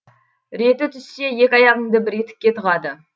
реті түссе екі аяғыңды бір етікке тығады